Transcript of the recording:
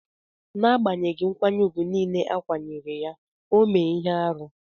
N'agbanyeghi nkwanye ùgwù nile a kwanyere ya, o mee ihe arụ.